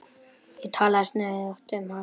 Ég talaði stöðugt um hann.